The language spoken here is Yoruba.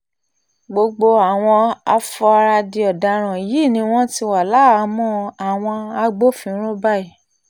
gbogbo àwọn afuarádì ọ̀daràn yìí ni wọ́n ti wá láhàámọ̀ àwọn agbófinró báyìí